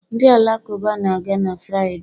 Ndị Alakụba na-aga na Fraịde